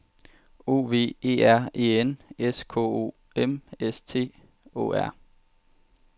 O V E R E N S K O M S T Å R